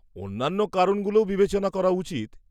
-অন্যান্য কারণগুলোও বিবেচনা করা উচিত।